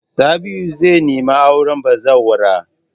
Sabi'u zai nemi auren bazawara.